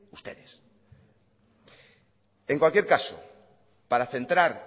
ustedes en cualquier caso para centrar